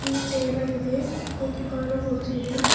ಇಲ್ಲಿ ಟೇಬಲ್ ಇದೆ ಕೂತಿಕೊಳ್ಳಲು ಕುರ್ಚಿ ಇದೆ.